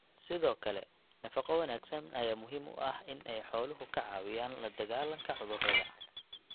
Sidoo kale, nafaqo wanaagsan ayaa muhiim u ah in ay xooluhu ka caawiyaan la dagaalanka cudurrada.